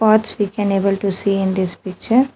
Paths we can able to see in this picture.